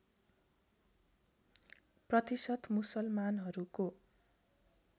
प्रतिशत मुसलमानहरूको